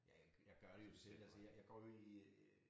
Ja jeg gør det jo selv altså jeg jeg går jo i øh